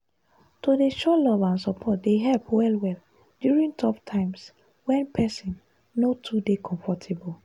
to dey show love and support dey help well-well during tough times when person no too dey comfortable.